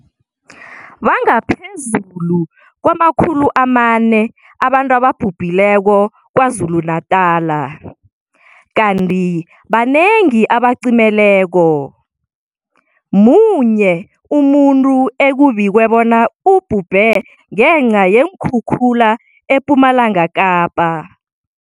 Bangaphezulu kwama-400 abantu ababhubhileko KwaZulu-Natala, kanti banengi abacimeleko. Munye umuntu ekubikwe bona ubhubhe ngenca yeenkhukhula ePumalanga Kapa.